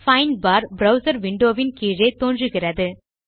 find bar browser window வின் கீழே தோன்றுகிறது